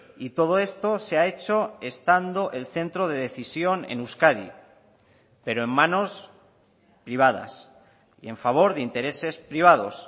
y todo esto se ha hecho estando el centro de decisión en euskadi pero en manos privadas y en favor de intereses privados